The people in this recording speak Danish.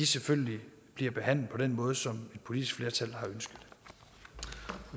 selvfølgelig bliver behandlet på den måde som et politisk flertal